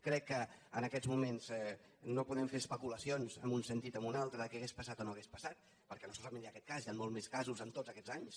crec que en aquests moments no podem fer especula·cions en un sentit o en un altre de què hauria passat o no hauria passat perquè no solament hi ha aquest cas hi han molts més casos en tots aquests anys